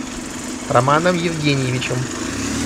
романом евгеньевичем